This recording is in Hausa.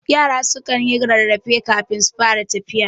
Yara kanyi rarrafe kafin su fara tafiya.